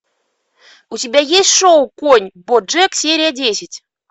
у тебя есть шоу конь боджек серия десять